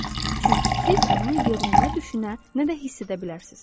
Çünki siz onu yerinə nə düşünə, nə də hiss edə bilərsiniz.